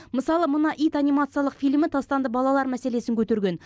мысалы мына ит анимациялық фильмі тастанды балалар мәселесін көтерген